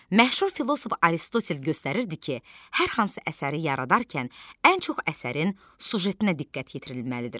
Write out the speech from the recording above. Məşhur filosof Aristotel göstərirdi ki, hər hansı əsəri yaradarkən ən çox əsərin süjetinə diqqət yetirilməlidir.